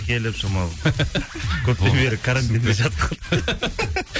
келіп шамалы көптен бері карантинде жатып қалды